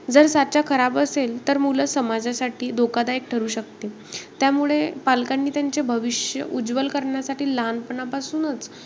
जर साचा खराब असेल तर मूलं समाजासाठी धोकादायक ठरू शकते. त्यामुळे पालकांनी त्यांचे भविष्य उज्वल करण्यासाठी लहानपणापासूनच,